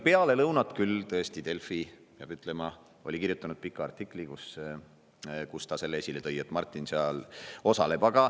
Peale lõunat küll, tõesti, peab ütlema, oli Delfi kirjutanud pika artikli, kus see oli esile toodud, et Martin seal osaleb.